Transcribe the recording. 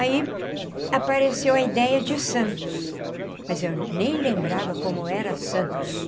Aí apareceu a ideia de Santos, mas eu nem lembrava como era Santos.